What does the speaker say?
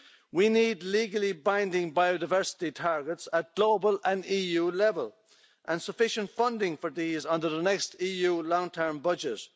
We need legally binding biodiversity targets at global an EU level and sufficient funding for these under the next EU long term budget.